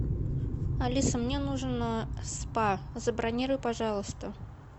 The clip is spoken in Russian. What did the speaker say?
алиса мне нужен спа забронируй пожалуйста